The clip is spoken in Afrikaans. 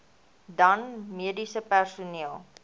dan mediese personeel